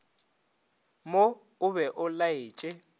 mo o be o laetše